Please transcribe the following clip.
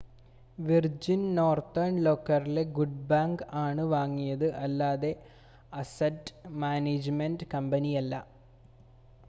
virgin Northern റോക്കിലെ good bank ആണ് വാങ്ങിയത് അല്ലാതെ അസറ്റ് മാനേജ്മെൻ്റ് കമ്പനിയല്ല